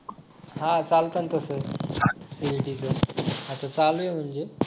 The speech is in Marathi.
हा चालत ना तसं CET च आता चालू आहे म्हणजे